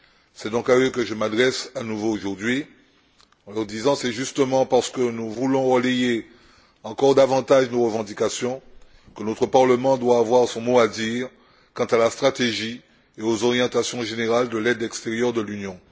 C'est donc à eux que je m'adresse à nouveau aujourd'hui, en leur disant que c'est justement parce que nous voulons relayer encore davantage nos revendications que notre Parlement doit avoir son mot à dire quant à la stratégie et aux orientations générales de l'aide extérieure de l'Union.